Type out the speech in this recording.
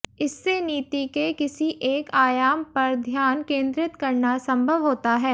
इससे नीति के किसी एक आयाम पर ध्यान केंद्रित करना संभव होता है